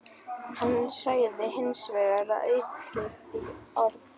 Hann sagði hins vegar ekki aukatekið orð.